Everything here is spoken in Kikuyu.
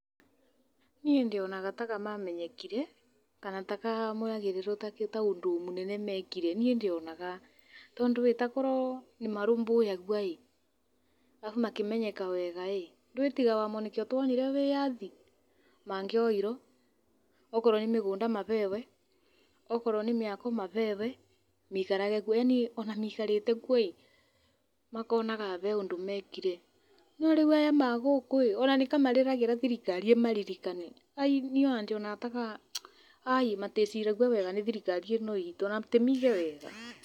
Niĩ ndionaga ta mamenyekire kana ta moyagĩrĩrwo ta ũndũ mũnene mekire niĩ ndionaga. Tondũ ĩ takorwo nĩmarũmbũyagio rĩ na makĩmenyeka wega rĩ, tiga nĩo nĩkĩo tuonire wĩyathi. Mangĩoirwo akorwo nĩ mĩgũnda maheyo, akorwo nĩ mĩako maheo maikarage kuo. Yaani nginya maikarĩte kuo makonaga kũrĩ ũndũ mekire , no rĩu aya a gũkũ nĩtamarĩragĩra thirikari ĩmaririkane. Aai niĩ ndionaga ta meciragio wega nĩ thirikari ĩno itũ ona tiaige wega.